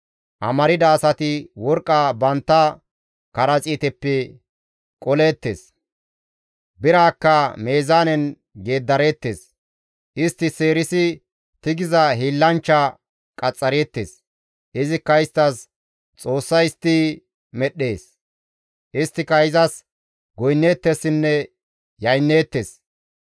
Amarda asati worqqa bantta karaxiiteppe qoleettes; biraakka meezaanen geeddareettes; istti seerisi tigiza hiillanchcha qaxxareettes; izikka isttas xoossa histti medhdhees. Isttika izas goynneettessinne yaynneettes.